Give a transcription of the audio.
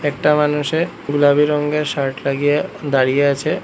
একটা মানুষে গুলাবি রঙ্গের শার্ট লাগিয়ে দাঁড়িয়ে আছে।